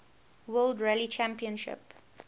world rally championship